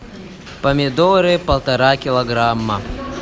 помидоры полтора килограмма